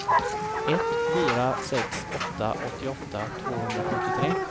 ett fyra sex åtta åttioåtta tvåhundrasjuttiotre